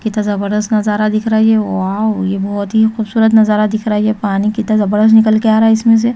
कितना नजारा दिख रहा है ये वाव ये बहोत ही खूबसूरत नजारा दिख रहाहै पानी का फवारा निकाल कर आ रहा है इसमें से--